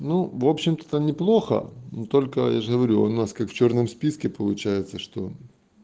ну в общем-то неплохо но только я же говорю у нас как в чёрном списке получается что